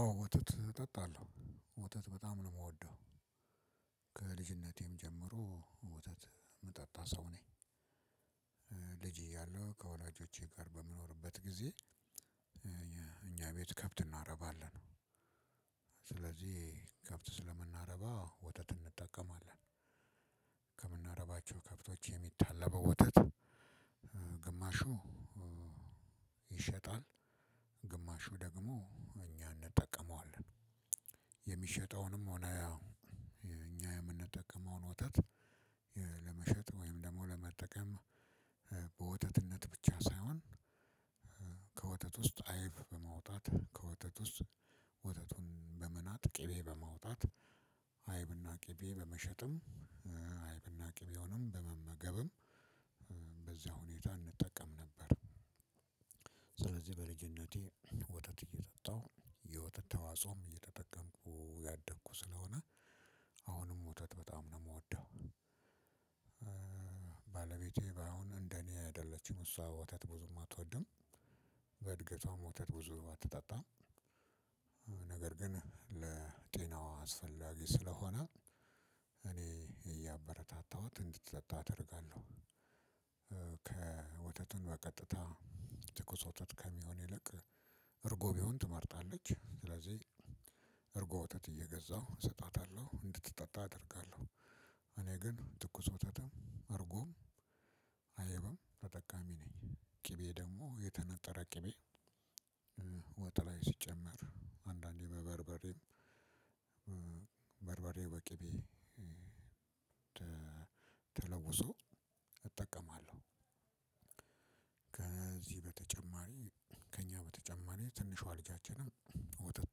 አዎ ወተት እጠጣለሁ ወተት በጣም ነው የምወደው ከልጅነቴም ጀምሮ ወተት የምጠጣ ሰው ነኝ። ልጂ እያለሁ ከወላጆቼ ጋር በምኖርበት ጊዜ። እኛ ቤት ከብት እናረባለን ስለዚህ ከብት ስለምናረባ ወተት እንጠቀማለን። ከምናረባቸው ከብቶች የሚታለበው ወተት። ግማሹ ይሸጣል ግማሹ ደግሞ እኛ እንጠቀመዋለን። የሚሸጠውንም ሆነ እኛ የምንጠቀመውን ወተት። ወይም ደግሞ ለመጠቀም በወተትነት ብቻ ሳይሆን። ከወተት ውስጥ አይብ በመውጣት ከወተት ውስጥ ወተቱን በመናጥ ቅቤ በመውጣት ቅቤ በመሸጥም አይብና ቅቤውንም በመመገብም በዚያ ሁኔታ እንጠቀም ነበር። ስለዚህ በልጂነቴ ወተተት እየጠጣሁ የወተት አስተዋፅኦ እየተጠቀምኩ ያደኩ ስለሆነ አሁንም ወተት በጣም ነው የምወደው። ባለቤቴ ባይሁን እንደኔ አይደለችም እሷ ወተት ብዙም አትወድም በእድገቷ ብዙም ወተት አትጠጣም። ነገር ግን ለጤናዋ አስፈላጊ ስለሆነ እኔ እያበረታታሁት እንድትጠጣ አደርጋለሁ። ወተትን በቀጥታ ትኩስ ወተት ከሚሆን ይልቅ እርጎ ተትመርጣለች። እርጎ ወተት እየገዛሁ እሰጣተታለሁ እንድትጠጣ አደርጋለሁ። እኔ ግን ትኩስ ወተትም እርጎም አይብም ተጠቃሚ ነኝ ቅቤ ደግሞ የተነጠረ ቅቤ። ወጥ ላይ ሲጨመር አንዳንዴ በበርበሬም በበርበሬ በቅቤ ተለውሶ እጠቀማለሁ። ከዚህ በተጨማሪ ከእኛ በተጨማሪ ትንሿ ልጃችንም ወተት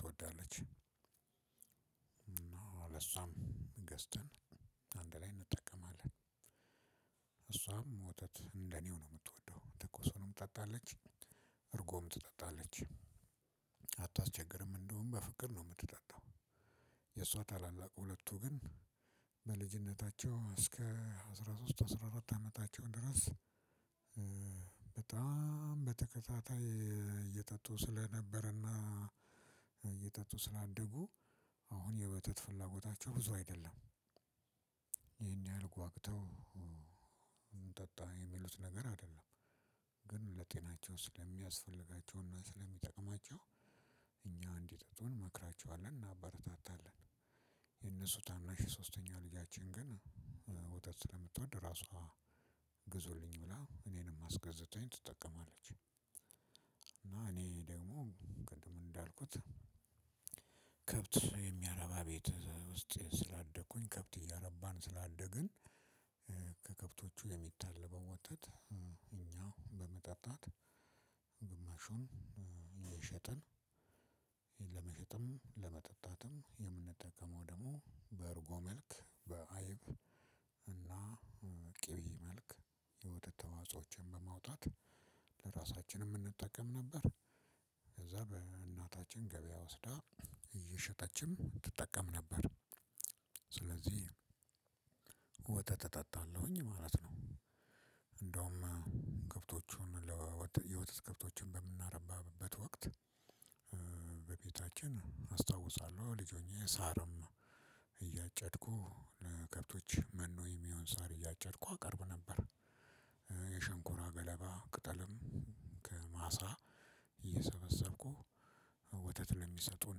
ትወዳለች። እና ለሷም ገዝተን አንድ ላይ እንጠቀማለን። እሷም ወተት እንደኔው ነው የምትወደው ትኩሱንም ትጠጣለች እርጎም ትጠጣለች አታስቸግርም እንደውም በፍቅር ነው የምትጠጣው። የእሷ ታላላቅ ሁለቱ ግን በልጅነታቸው እስከ አስራ ሶስት አስራ አራት አመታቸው ድረስ። በጣም በተከታታይ እየጠጡ ስለነበረና እየጠጡ ስላደጉ አሁን የወተት ፍላጎታቸው ብዙ አይደለም። ይሄን ያህል ጓግተው እንጠጣ የሚሉት ነገር አይደለም። ግን ለጤናቸው ስለሚያስፈልጋቸውና እና ስለሚጠቅማቸው እኛ እንዲጠጡ እንመክራቸዋለን እናበረታታለን። የነሱ ታናሽ ሶስተኛ ልጃችን ግን ወተት ስለምትወድ ራሷ ግዙልኝ ብላ እኔንም አስገዝተኝ ትጠቀማለች። እና እኔ ደግሞ ቅድም እንዳልኩት ከብት የሚያረባ ቤት ውስጥ ስላደኩኝ ከብት እያረባን ስላደግን። የሚታለበው ወተት ያን በመጠጣት ግማሹን ሽጠን ለመሸጥም ለመጠጣትም የምንጠቀመው ደግሞ በእርጎ መልክ በአይብ እና ቅቤ መልክ የወተት ተዋጾችን በማውጣት ለራሳችንም እንጠቀም ነበር። ከዛም እናታችን ገበያ ወስዳ እየሸጠችም ትጠቀም ነበር። ስለዚህ ወተት እጠጣለሁኝ ማለት ነው። እንደውም ከብቶቹን ለወተት ከብቶችን በምናረባበት ወቅት በቤታችን አስታውሳለሁ ልጅ ሆኜ ሳርም እያጨድኩ ለከብቶች መኖ የሚሆን ሳር እያጨድኩ አቀርብ ነበር። የሸንኮራ ገለባ ቅጠልም ከማሳ እየሰበሰብኩ ወተት ለሚሰጡን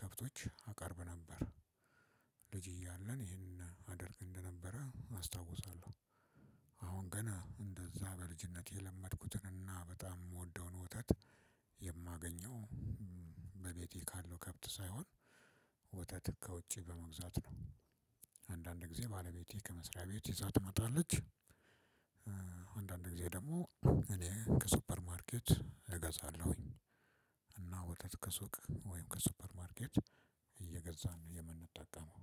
ከብቶች አቀርብ ነበር። ልጅ እያለን ይሄንን አደርግ እንደነበረ አስታውሳለሁ። አሁን ገን እንደዛ በልጅነት የለመድኩትን እና በጣም የምወደውን ወተት የማገኘው በቤቴ ካለው ከብት ሳይሆን ወተት ከውጪ በመግዛት ነው። አንዳንድ ጊዜ ባለቤቴ ከመስሪያ ቤት ይዛት ትመጣለች። አንዳንድ ጊዜ ደግሞ እኔ ከሱፐር ማርኬት እገዛለሁኝ። እና ወተት ከሱቅ ወይም ከሱፐርማርኬት እየገዛን የምንጠቀመው